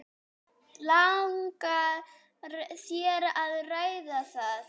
Langar þér að ræða það?